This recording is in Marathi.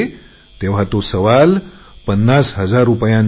प्रश्न पन्नास हजार रुपयांचा नाही